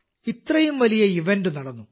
ഇത്രയും വലിയ ഇവന്റ് നടന്നു